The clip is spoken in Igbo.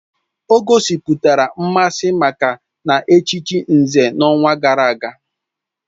O gosipụtara mmasị maka na-echichi Nze n'ọnwa gara aga